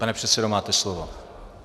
Pane předsedo, máte slovo.